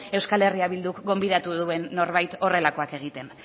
eh bilduk gonbidatu duen norbait horrelakoak egiten